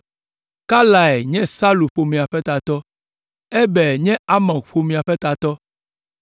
Kalai nye Salu ƒomea ƒe tatɔ, Eber nye Amok ƒomea ƒe tatɔ,